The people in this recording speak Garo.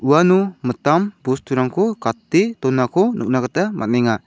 uano mitam bosturangko gate donako nikna gita man·enga.